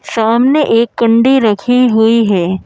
सामने एक कंडी रखी हुई है।